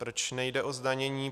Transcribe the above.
Proč nejde o zdanění?